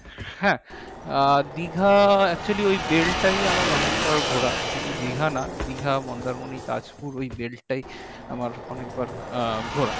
হ্যাঁ আহ দীঘা actually ওই বেলটাই আমার অনেকবার ঘোরা শুধু দীঘা না দীঘা, মন্দারমণি, তাজপুর, ওই বেলটাই আমার অনেকবার আহ ঘোরা